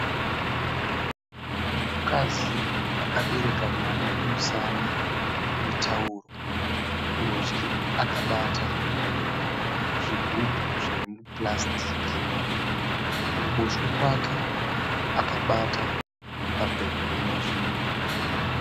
Mukadzi akabereka mwana kumusana netauro. Kurudyi akabata zvigubhu zvepurasitiki. Kuruboshwe kwake akabata pepabhegi ine zvinhu.